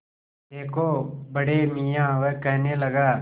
देखो बड़े मियाँ वह कहने लगा